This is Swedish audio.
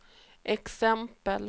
exempel